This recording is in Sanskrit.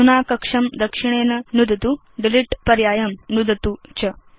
अधुना कक्षं दक्षिणेन नुदतु डिलीट पर्यायं नुदतु च